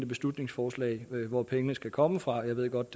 beslutningsforslag hvor pengene skal komme fra jeg ved godt